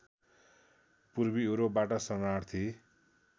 पूर्वी युरोपबाट शरणार्थी